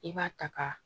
I b'a ta ka